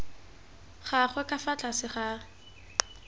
gagwe ka fa tlase ga